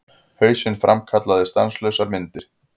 Hausinn framkallaði stanslausar myndir.